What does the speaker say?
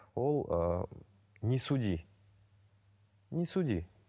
ол ыыы не суди не суди